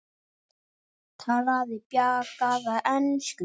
Talaði bjagaða ensku